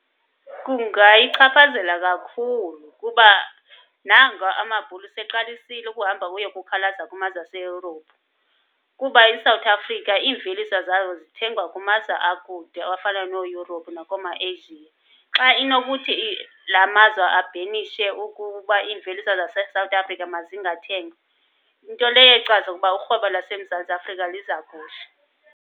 Kungayichaphazela kakhulu kuba nanga amaBhulu seyeqalisile ukuhamba kuye kukhalaza kumazwe aseYurophu. Kuba iSouth Africa iimveliso zawo zithengwa kumazwe akude afana nooYurophu nakooma-Asia. Xa inokuthi lamazwe abhenishe ukuba imveliso zaseSouth Africa mazingathengwa, nto leyo echaza ukuba urhwebo laseMzantsi Afrika liza kuhla.